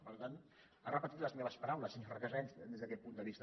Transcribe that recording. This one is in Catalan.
per tant ha repetit les meves paraules senyor recasens des d’aquest punt de vista